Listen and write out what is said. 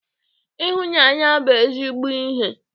Ịhụnanya bụ ezigbo ihe.